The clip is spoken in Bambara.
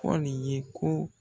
Pɔli ye ko